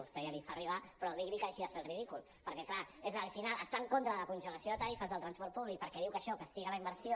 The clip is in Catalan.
vostè ja li fa arribar però digui li que deixi de fer el ridícul perquè al final està en contra de la congelació de tarifes del transport públic perquè diu que això castiga la inversió